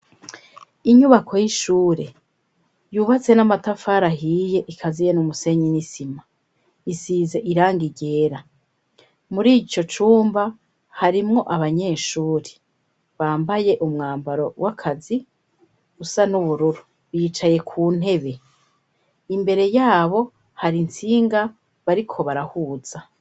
Inyubako y'ishure yubatse n'amatafari ahiye ikaziye n'umusenyi n'isima. Isize irangi ryera. Muri ico cumba harimwo abanyeshuri bambaye umwambaro w'akazi usa n'ubururu, bicaye ku ntebe. Imbere yabo hari intsinga bariko barahuza.